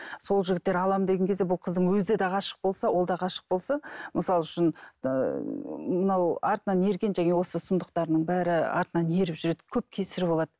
сол жігіттер алам деген кезде бұл қыздың өзі де ғашық болса ол да ғашық болса мысалы үшін ііі мынау артынан ерген жаңа осы сұмдықтарының бәрі артынан еріп жүреді көп кесірі болады